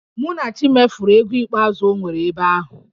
Munachi mefuru ego ikpeazụ o nwere ebe ahụ